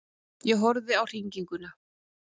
Ég horfði á hringinguna.